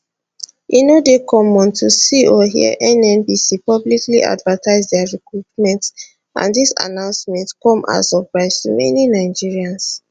e no dey common to see or hear nnpc publicly advertise dia recruitment and dis announcement come as surprise to many nigerians